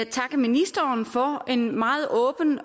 takke ministeren for en meget åben